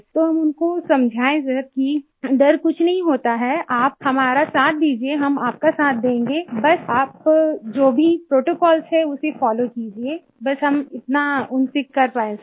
तो हम उनको समझाए सर कि डर कुछ नहीं होता है आप हमारा साथ दीजिये हम आपका साथ देंगे बस आप जो भी प्रोटोकॉल्स है उसे फोलो कीजिये बस हम इतना उनसे कर पाए सर